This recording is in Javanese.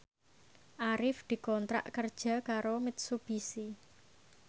Arif dikontrak kerja karo Mitsubishi